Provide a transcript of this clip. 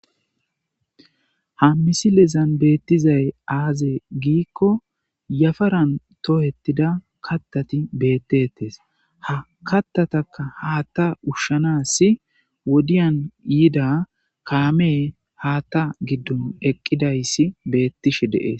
ha misilezan beettizay aaze giikko yafaran toohettida kattati beettettes ha kattataka haatta ushshanassi wodiyan yiida kaame haatta giddon eqqidayssi beettishe deees